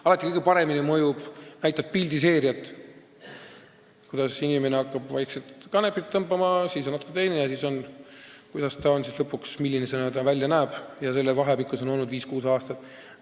Alati mõjub kõige paremini see, kui sa näitad pildiseeriat, et inimene hakkab vaikselt kanepit tõmbama ja kuidas ta siis lõpuks välja näeb, kusjuures see aeg on olnud viis-kuus aastat.